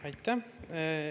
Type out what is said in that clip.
Aitäh!